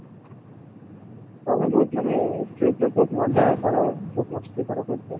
ତମେ ବହୁତ ମାନେ ସେଇ ପ୍ରକାର ବହୁତ ମଜା କର ବହୁତ ମସ୍ତି କର ସେଥି ପାଇଁ